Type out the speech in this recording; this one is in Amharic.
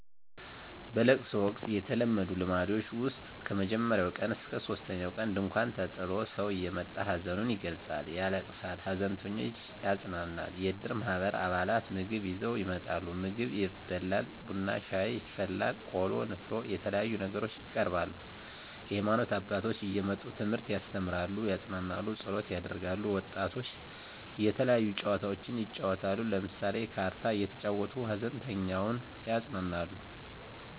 በለቅሶ ወቅት የተለመዱ ልምዶች ውስጥ ከመጀመሪያው ቀን እስከ ሶስተኛው ቀን ድንኳን ተጥሎ ሰው እየመጣ ሀዘኑን ይገልፃል ያለቅሳል ሃዘንተኞችን ያፅናናል። የእድር ማህበር አባላት ምግብ ይዘው ይመጣሉ ምግብ ይበላል ቡና ሻይ ይፈላል ቆሎ ንፍሮ የተለያዩ ነገሮች ይቀርባሉ። የሀይማኖት አባቶች እየመጡ ትምህርት ያስተምራሉ ያፅናናሉ ፀሎት ያደርጋሉ። ወጣቶች የተለያዩ ጨዋታዎችን ይጫወታሉ ለምሳሌ ካርታ እየተጫወቱ ሃዘንተኛውን ያፅናናሉ።